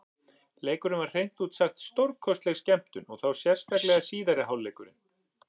Leikurinn var hreint út sagt stórkostleg skemmtun, og þá sérstaklega síðari hálfleikurinn.